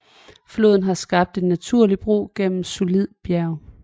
Floden har skabt en naturlig bro igennem solidt bjerg